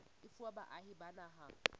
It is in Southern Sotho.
e fuwa baahi ba naha